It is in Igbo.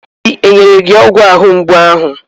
Obi enyere gi ọgwụ ahụ mgbu ahụ?